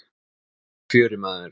Nú hefst fjörið, maður.